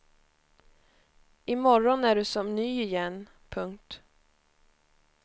Imorgon är du som ny igen. punkt